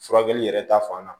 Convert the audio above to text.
Furakɛli yɛrɛ ta fan na